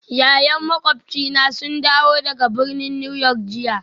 Ya'yan makwabcina sun dawo daga birnin New York jiya